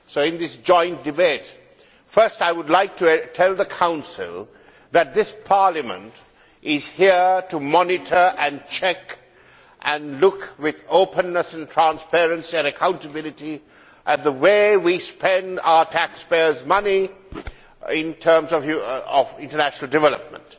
In this joint debate I would first like to tell the Council that Parliament is here to monitor and check, and look with openness and transparency and accountability at the way we spend our taxpayers' money in terms of international development.